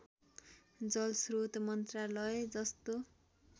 जलस्रोत मन्त्रालय जस्तो